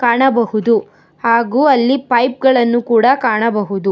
ಕಾಣಬಹುದು ಹಾಗೂ ಅಲ್ಲಿ ಪೈಪ್ ಗಳನ್ನು ಕೂಡ ಕಾಣಬಹುದು.